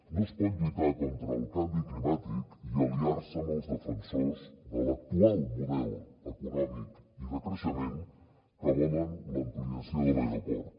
no es pot lluitar contra el canvi climàtic i aliar se amb els defensors de l’actual model econòmic i de creixement que volen l’ampliació de l’aeroport